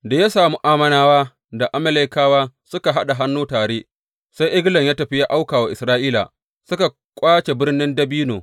Da ya sami Ammonawa da Amalekawa suka haɗa hannu tare, sai Eglon ya tafi ya auka wa Isra’ila, suka ƙwace Birnin Dabino.